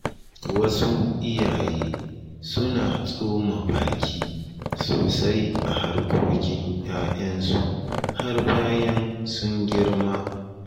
Wasu iyaye suna tsoma baki sosai a harkokin ‘ya’yansu har bayan sun girma.